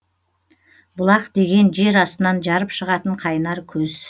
бұлақ деген жер астынан жарып шығатын қайнар көз